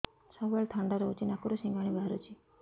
ସବୁବେଳେ ଥଣ୍ଡା ରହୁଛି ନାକରୁ ସିଙ୍ଗାଣି ବାହାରୁଚି